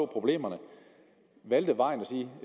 problemerne valgte vejen at sige